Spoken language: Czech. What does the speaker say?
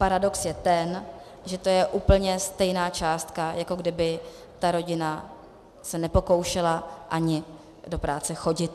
Paradox je ten, že to je úplně stejná částka, jako kdyby ta rodina se nepokoušela ani do práce chodit.